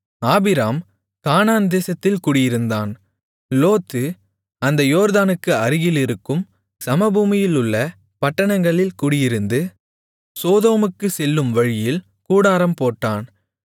Abram Canaan தேசத்தில் குடியிருந்தான் Lot அந்த யோர்தானுக்கு அருகிலிருக்கும் சமபூமியிலுள்ள பட்டணங்களில் குடியிருந்து சோதோமுக்குச் செல்லும் வழியில் கூடாரம் போட்டான்